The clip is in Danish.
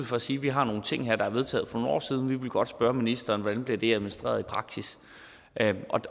for at sige vi har nogle ting her der er vedtaget for nogle år siden og vi vil godt spørge ministeren hvordan det bliver administreret i praksis